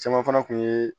Caman fana kun yee